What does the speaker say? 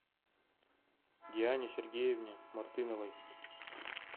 диане сергеевне мартыновой